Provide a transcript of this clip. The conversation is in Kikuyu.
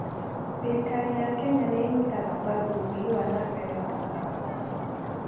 Thirikari ya Kenya nĩ ĩnyitaga mbaru ũthii wa na mbere wa mathako.